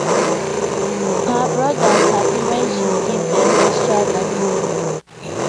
her brothers happy when she give dem extra data